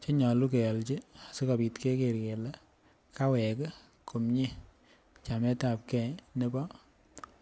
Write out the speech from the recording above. Che nyolu kealchi asikobit keger kele kawek komie chameetapgei nebo bortanyin